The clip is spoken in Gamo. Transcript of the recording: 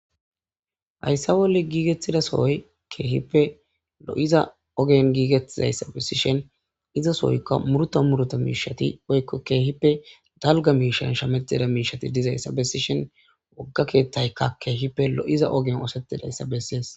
hayssa wolle giigettida sohoy keehippe lo7iza ogen giigettizayssa bessishen izasohoykka murta muruta miishati oykko keehippe dalga miishan shametida miishati dizayssa bessishen wogga keethtayka keehipe lo7iza ogen oosetidayssa bessees